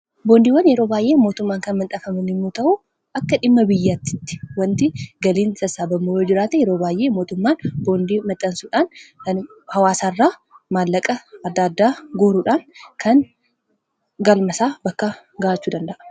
boondiiwwan yeroo baay'ee mootummaan kan maxxanfamani ta'uu akka dhimma biyyaatitti wanti galiin sassaabamu jiraata yeroo baay'ee mootummaan boondii maxxansuudhaan kan hawaasarraa maallaqa bardaadan guuruudhaan kan galmasaa bakka gahachuu danda'a.